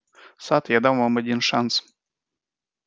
сатт я дам вам один шанс